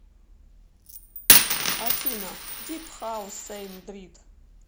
афина дип хаус сэйм дрит